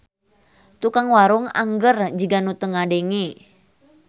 Tukang warung angger jiga nu teu ngadenge.